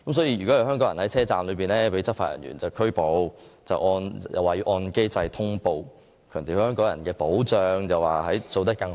如有香港人在站內被內地執法人員拘捕，會按既定機制作出通報，當局並強調在對香港人的保障方面，會盡可能做得更好。